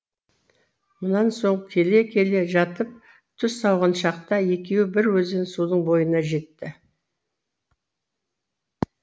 мұнан соң келе келе жатып түс ауған шақта екеуі бір өзен судың бойына жетті